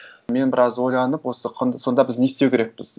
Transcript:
мен біраз ойланып осы сонда біз не істеу керекпіз